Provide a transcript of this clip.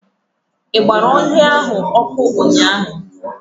I gbara ọhịa ahụ ọkụ ụnyaahụ.